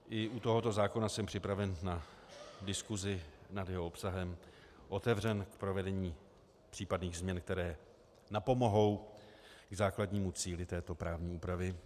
I u tohoto zákona jsem připraven na diskusi nad jeho obsahem, otevřen k provedení případných změn, které napomohou k základnímu cíli této právní úpravy.